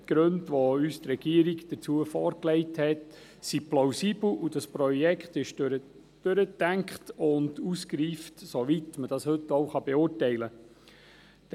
Die Gründe, welche uns von der Regierung dazu vorgelegt werden, sind plausibel, und das Projekt ist durchdacht und ausgereift, soweit man das heute beurteilen kann.